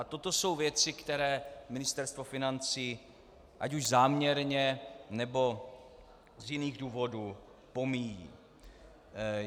A toto jsou věci, které Ministerstvo financí ať už záměrně, nebo z jiných důvodů pomíjí.